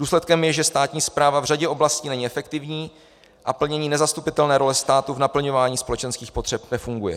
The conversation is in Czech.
Důsledkem je, že státní správa v řadě oblastí není efektivní a plnění nezastupitelné role státu k naplňování společenských potřeb nefunguje.